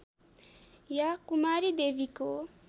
या कुमारी देवीको